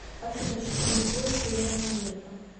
афина часовой пояс северная америка